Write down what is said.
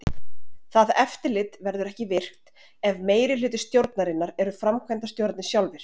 Það eftirlit verður ekki virkt ef meirihluti stjórnarinnar eru framkvæmdastjórarnir sjálfir.